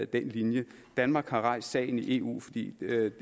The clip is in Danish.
den linje danmark har rejst sagen i eu fordi det